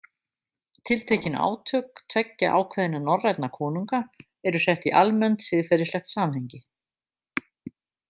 Tiltekin átök tveggja ákveðinna norrænna konunga eru sett í almennt, siðferðislegt samhengi.